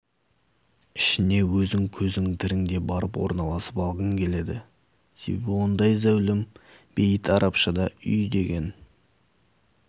ішіне өзің көзің тіріңде барып орналасып алғың келеді себебі ондай зәулім бейіт арабшада үй деген